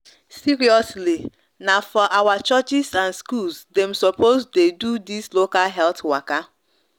seriously na for our churches and schools dem sopos de do this local health waka